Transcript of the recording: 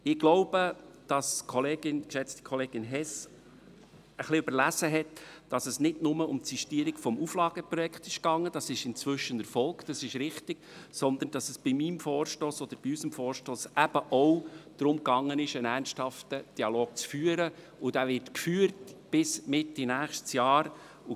Ich glaube, dass die geschätzte Kollegin Hess überlesen hat, dass es nicht nur um die Sistierung des Auflageprojekts geht – das ist inzwischen erfolgt, das ist richtig –, sondern dass es bei unserem Vorstoss eben auch darum geht, einen ernsthaften Dialog zu führen, und dieser wird bis Mitte nächstes Jahr geführt.